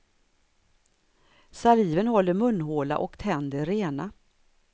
Saliven håller munhåla och tänder rena.